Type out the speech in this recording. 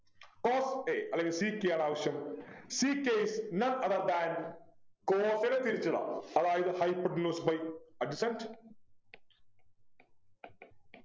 cos a അല്ലെങ്കിൽ sec a ആണ് ആവശ്യം sec a none other than cos നെ തിരിച്ചിടാം അതായത് Hypotenuse by adjacent